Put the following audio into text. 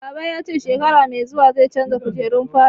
Baba ya ce shekara mai zuwa zai canza kujerun falo